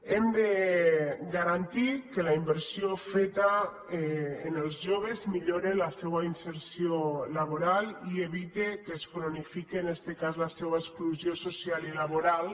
hem de garantir que la inversió feta en els joves millore la seua inserció laboral i evite que es cronifique en este cas la seua exclusió social i laboral